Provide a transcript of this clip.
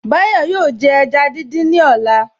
Báyọ̀ yóò jẹ ẹja dídín ní ọ̀la